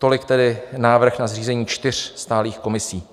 Tolik tedy návrh na zřízení čtyř stálých komisí.